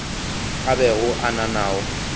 a bego a na nao